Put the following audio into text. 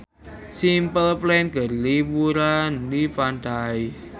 Simple Plan keur liburan di pantai